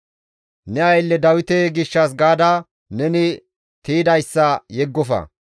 Ne aylle Dawite gishshas gaada neni tiydayssa yeggofa.